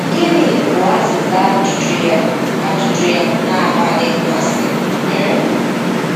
Gịnị bụ azịza ajụjụ ya ajụjụ ya na-akpali mmasị? um